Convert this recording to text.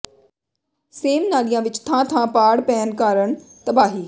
same ਨਾਲਿਆਂ ਵਿਚ ਥਾਂ ਥਾਂ ਪਾੜ ਪੈਣ ਕਾਰਨ ਤਬਾਹੀ